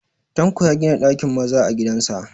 Tanko ya gina ɗakin maza a gidan sa